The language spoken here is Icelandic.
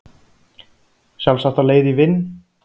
Sjálfsagt á leið í vinn